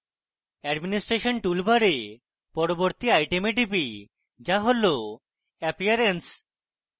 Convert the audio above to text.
administration toolbar পরবর্তী item টিপি যা হল appearance